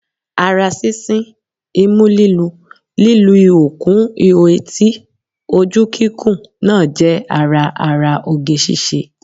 Ara sísín, imú lílu, lí lu ihò kún ihò etí, ojú kíkùn náà jẹ́ ara ara oge ṣíṣe